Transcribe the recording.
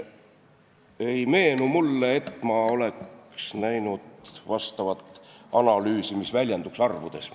Mulle ei meenu, et ma oleks näinud analüüsi, mis väljenduks arvudes.